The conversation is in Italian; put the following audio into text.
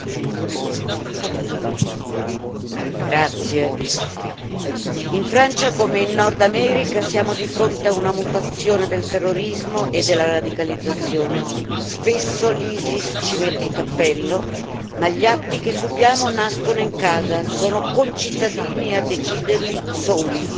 Signora Presidente, onorevoli colleghi, in Francia come in Nord America siamo di fronte a una mutazione del terrorismo e della radicalizzazione. Spesso l'ISIS ci mette il cappello, ma gli atti che subiamo nascono in casa, sono concittadini a deciderli, soli.